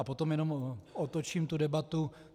A potom jenom otočím tu debatu.